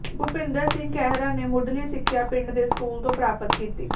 ਭੁਪਿੰਦਰ ਸਿੰਘ ਖਹਿਰਾ ਨੇ ਮੁੱਢਲੀ ਸਿੱਖਿਆ ਪਿੰਡ ਦੇ ਸਕੂਲ ਤੋਂ ਪ੍ਰਾਪਤ ਕੀਤੀ